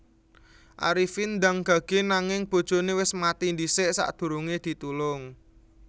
Arifin ndang gage nanging bojone wis mati dhisik sakdurunge ditulung